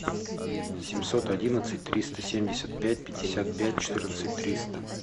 семьсот одиннадцать триста семьдесят пять пятьдесят пять четырнадцать триста